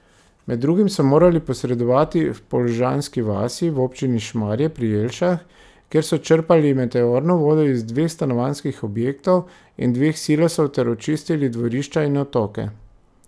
Med drugim so morali posredovati v Polžanski vasi v občini Šmarje pri Jelšah, kjer so črpali meteorno vodo iz dveh stanovanjskih objektov in dveh silosov ter očistili dvorišča in odtoke.